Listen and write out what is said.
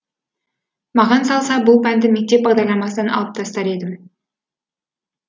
маған салса бұл пәнді мектеп бағдарламасынан алып тастар едім